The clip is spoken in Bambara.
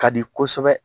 Ka di kosɛbɛ